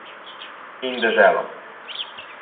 In deželo.